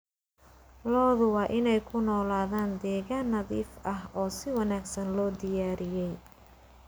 Lo'du waa inay ku noolaadaan deegaan nadiif ah oo si wanaagsan loo diyaariyey.